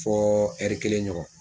Fɔ ɛri kelen ɲɔgɔn.